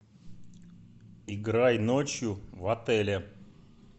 играй ночью в отеле